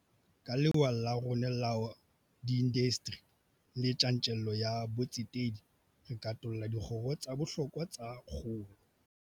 Ka lewa la rona la diindasteri le tjantjello ya botsetedi, re katolla dikgoro tsa bohlokwa tsa kgolo.